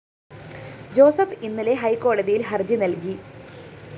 Joseph ഇന്നലെ ഹൈക്കോടതിയില്‍ ഹര്‍ജി നല്‍കി